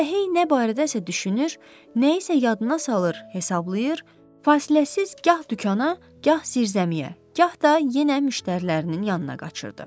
Elə hey nə barədə isə düşünür, nəyisə yadına salır, hesablayır, fasiləsiz gah dükana, gah zirzəmiyə, gah da yenə müştərilərinin yanına qaçırdı.